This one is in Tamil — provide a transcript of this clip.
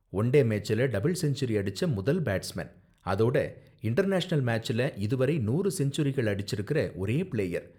ஒன் டே மேட்ச்ல டபிள் செஞ்சுரி அடிச்ச முதல் பேட்ஸ்மேன், அதோட இன்டர்நேஷனல் மேட்ச்ல இதுவரை நூறு செஞ்சுரிக்கள் அடிச்சிருக்கிற ஒரே பிளேயர்.